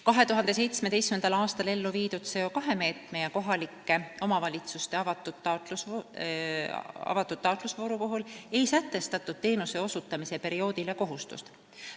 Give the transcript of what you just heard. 2017. aastal ellu viidud CO2 meetme ja kohalike omavalitsuste avatud taotlusvooru puhul ei sätestatud teenuse osutamise perioodile kohustust.